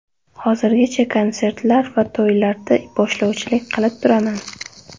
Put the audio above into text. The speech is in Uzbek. Hozirgacha konsertlar va to‘ylarda boshlovchilik qilib turaman.